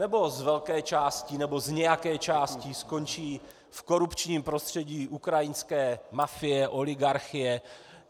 Nebo z velké části nebo z nějaké části skončí v korupčním prostředí ukrajinské mafie, oligarchie?